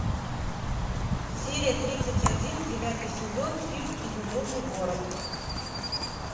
серия тридцать один девятый сезон фильм изумрудный город